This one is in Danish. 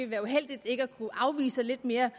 være uheldigt ikke at kunne afvise lidt mere